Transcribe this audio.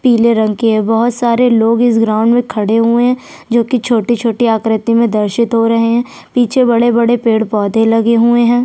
पिले रंग के है बहुत सारे लोग इस ग्राउंड में खड़े हुए है जो की छोटी-छोटी आकृति में दर्शित हो रहै है पीछे बड़े-बड़े पेड़-पौधे लगे हुए है।